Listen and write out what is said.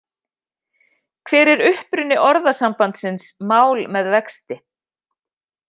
Hver er uppruni orðasambandsins mál með vexti.